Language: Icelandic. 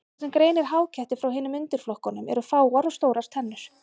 Það sem greinir háketti frá hinum undirflokkunum eru fáar og stórar tennur.